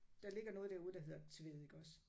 Der ligger noget derude der hedder Tvede iggås